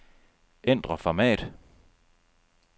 Ændr format.